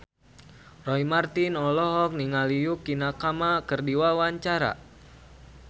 Roy Marten olohok ningali Yukie Nakama keur diwawancara